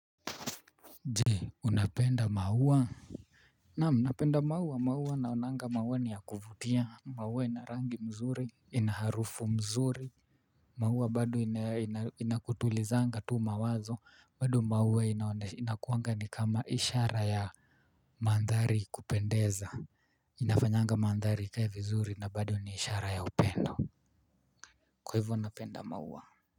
Jee, unapenda maua? Naam, napenda maua, maua naonanga maua ni ya kuvutia. Maua inarangi mzuri, inaharufu mzuri. Maua bado inakutulizanga tu mawazo. Bado maua inakuanga ni kama ishara ya mandhari kupendeza. Inafanyanga mandhari ikae vizuri na bado ni ishara ya upendo. Kwa hivyo napenda maua.